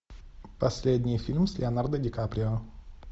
последний фильм с леонардо дикаприо